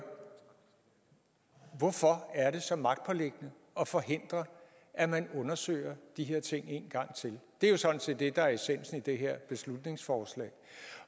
hvorfor er det så magtpåliggende at forhindre at man undersøger de her ting en gang til det er jo sådan set det der er essensen i det her beslutningsforslag